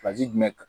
jumɛn